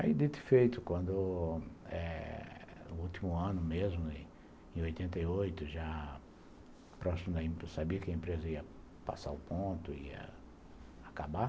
Aí de feito, quando eh no último ano mesmo, em oitenta e oito, já próximo, sabia que a empresa ia passar o ponto, ia acabar,